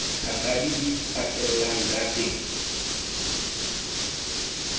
thakadi di fatelang ka teng